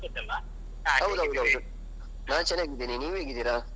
ಸಂತೋಷ್ ಅಲ್ಲಾ? ಹೌದೌದು ಹೌದು. ನಾನ್ ಚೆನ್ನಾಗಿದ್ದೇನೆ. ನೀವ್ ಹೇಗಿದಿರಾ?